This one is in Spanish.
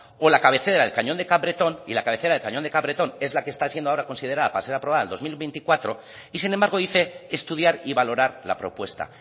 o la cabecera del cañón de capbreton y la cabecera del cañón de capbreton es la que está siendo ahora considera para ser aprobada en dos mil veinticuatro y sin embargo dice que estudiar y valorar la propuesta